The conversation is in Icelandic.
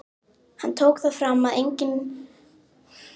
Hann tók það fram að ég fengi engin laun á meðan.